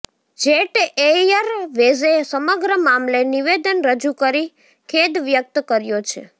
jet એયરવેઝે સમગ્ર મામલે નિવેદન રજુ કરી ખેદ વ્યક્ત કર્યો છે